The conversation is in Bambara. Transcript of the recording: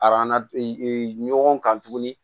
ɲɔgɔn kan tuguni